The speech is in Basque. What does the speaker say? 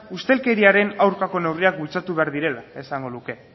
ustelkeriaren aurkako neurriak bultzatu behar direla esango luke